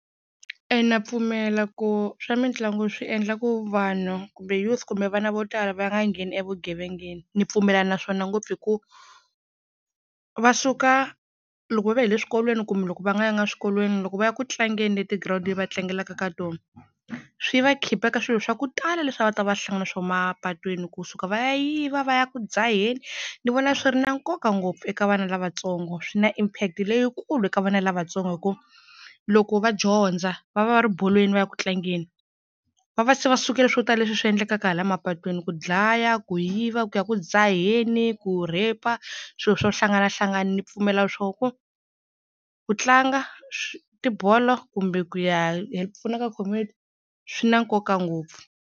E na pfumela ku swa mitlangu swi endla ku vanhu kumbe youth kumbe vana vo tala va nga ngheni evugevengeni ni pfumelana na swona ngopfu hi ku va suka loko va vuya hi le swikolweni kumbe loko va nga yanga swikolweni loko va ya ku tlangeni leti ground-ini leti va tlangelaka ka tona swi va khipha ka swilo swa ku tala leswi a va ta va hlangana na swona mapatwini kusuka va ya yiva va ya ku dzaheni ni vona swi ri na nkoka ngopfu eka vana lavatsongo swi na impact leyikulu eka vana lavatsongo hi ku loko va dyondza va va va ri bolweni va ya ku tlangeni va va se va sukele swo tala leswi swi endlekaka hala mapatwini ku dlaya, ku yiva, ku ya ku dzaheni, ku rape-a, swilo swo hlanganahlangana ni pfumela swoho ku ku tlanga tibolo kumbe ku ya pfuna ka community swi na nkoka ngopfu.